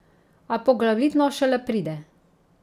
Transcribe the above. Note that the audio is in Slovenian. A poglavitno šele pride.